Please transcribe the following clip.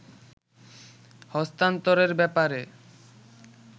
হস্তান্তরের ব্যাপারে